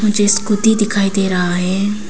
जो स्कूटी दिखाई दे रहा है।